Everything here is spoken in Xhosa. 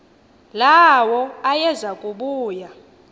lawo ayeza kubuya